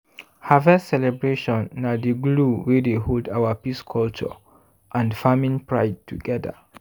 harvest celebration na di glue wey dey hold our peace culture and farming pride together.